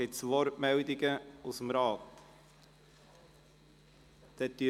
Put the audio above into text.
Gibt es Wortmeldungen aus dem Rat?